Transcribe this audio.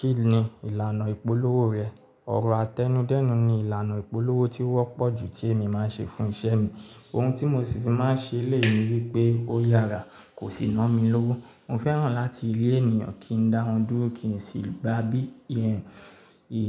Kí ni ìlànà ìpolówó rẹ? Ọ̀rọ̀ àtẹnudẹ́nu ni ìlànà ìpolówó tí ó wọ́pọ̀ jù tí èmi má ń ṣe fún isẹ́ mi. Ohun tí mo sì fi má ń ṣe léè mi wípé ó yára, kò sì na mí lówó. Mo fẹ́ràn láti lé ènìyàn kí n dáwon dúró, kí n sì gba bí i ẹ́yìn